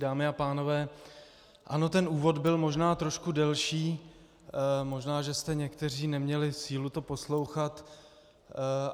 Dámy a pánové, ano, ten úvod byl možná trošku delší, možná že jste někteří neměli sílu to poslouchat.